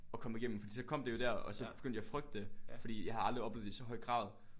Og komme i gennem fordi så kom det jo dér og så begyndte jeg at frygte det fordi jeg havde aldrig oplevet det i så høj grad